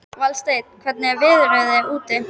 Valsteinn, hvernig er veðrið úti?